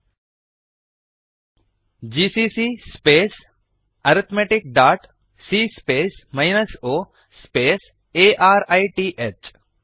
GCC space arithmeticಸಿಎ space 0 space arith GCC space arithmetic dot C space minus O space A R I T H